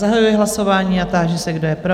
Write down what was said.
Zahajuji hlasování a táži se, kdo je pro?